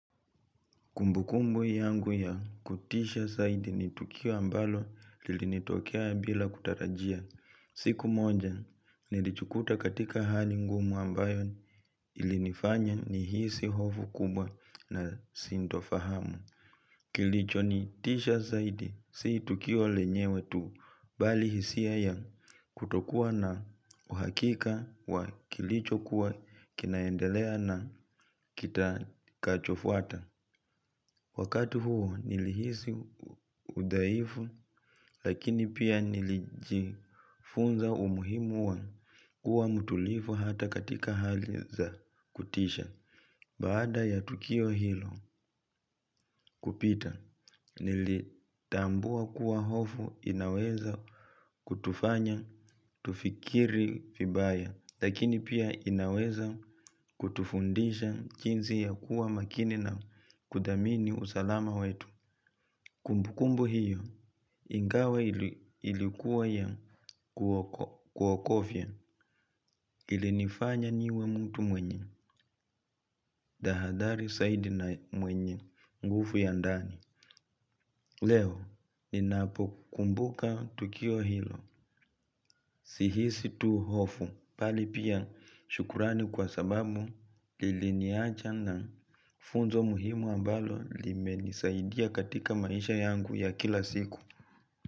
Kumbu kumbu yangu ya kutisha zaidi ni tukio ambalo lilinitokea bila kutarajia. Siku moja, nilijikuta katika hali ngumu ambayo ilinifanya nihisi hofu kubwa na sintofahamu. Kilichonitisha zaidi, si tukio lenyewe tu, bali hisia ya kutokuwa na uhakika wa kilichokuwa kinaendelea na kitakachofuata. Wakati huo nilihisi udhaifu lakini pia nilijifunza umuhimu wa kuwa mtulivu hata katika hali za kutisha. Baada ya tukio hilo kupita nilitambua kuwa hofu inaweza kutufanya tufikiri vibaya lakini pia inaweza kutufundisha jinsi ya kuwa makini na kudhamini usalama wetu. Kumbukumbu hiyo ingawa ilikuwa ya kuogofya ilinifanya niwe mtu mwenye tahadhari zaidi na mwenye nguvu ya ndani. Leo ninapokumbuka tukio hilo sihisi tu hofu bali pia shukrani kwa sababu liliniacha na funzo muhimu ambalo limenisaidia katika maisha yangu ya kila siku.